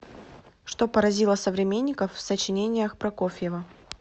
что поразило современников в сочинениях прокофьева